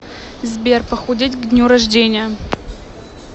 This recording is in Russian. сбер похудеть к дню рождения